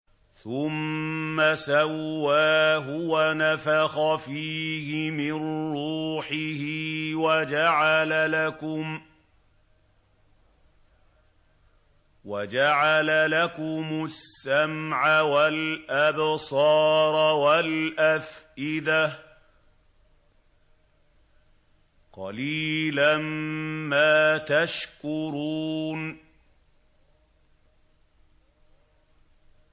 ثُمَّ سَوَّاهُ وَنَفَخَ فِيهِ مِن رُّوحِهِ ۖ وَجَعَلَ لَكُمُ السَّمْعَ وَالْأَبْصَارَ وَالْأَفْئِدَةَ ۚ قَلِيلًا مَّا تَشْكُرُونَ